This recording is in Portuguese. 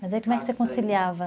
Mas aí como é que você conciliava?